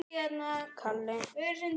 Sé hann fyrir mér.